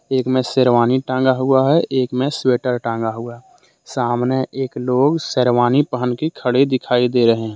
एक में शेरवानी टांगा हुआ है एक में स्वेटर टांगा हुआ सामने एक लोग शेरवानी पहन के खड़े दिखाई दे रहे हैं।